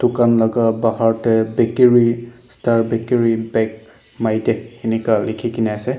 ducan laga bhar tae bakery star bakery bake my dek lekhina ase.